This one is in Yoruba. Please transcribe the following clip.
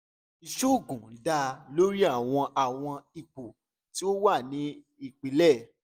iṣoogun da lori awọn awọn ipo ti o wa ni ipilẹ